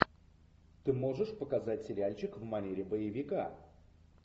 ты можешь показать сериальчик в манере боевика